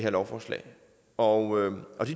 at omkring fem og